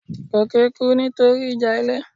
Goke kú nítorí ìjà ilé